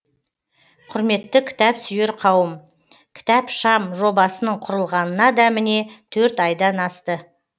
құрметті кітап сүйер қауым кітапшам жобасының құрылғанына да міне төрт айдан асты